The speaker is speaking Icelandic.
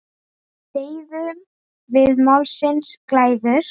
Deyðum við málsins glæður?